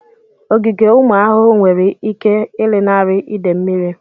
Ogige ụmụ ahụhụ nwere ike ịlanarị idè mmiri.